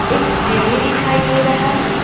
एक सीढ़ी दिखाई दे रहा है।